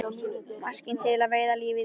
Maskína til að veiða lífið í.